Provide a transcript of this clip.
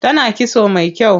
Tana kitso mai kyau.